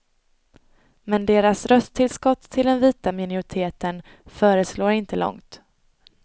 Men deras rösttillskott till den vita minoriteten förslår inte långt.